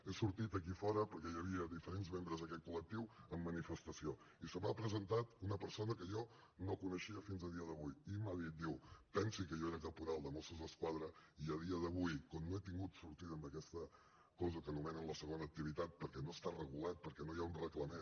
he sortit aquí a fora perquè hi havia diferents membres d’aquest col·lectiu en manifestació i se m’ha presentat una persona que jo no coneixia fins a dia d’avui i m’ha dit diu pensi que jo era caporal de mossos d’esquadra i a dia d’avui com no he tingut sortida amb aquesta cosa que anomenen la segona activitat perquè no està regulat perquè no hi ha un reglament